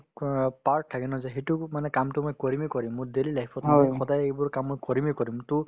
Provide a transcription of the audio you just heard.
part থাকে ন যে সেইটো মানে কামতো মই কৰিমে কৰিম মোৰ daily life ত মোৰ সদায় এইবোৰ কাম কৰিমে কৰিম to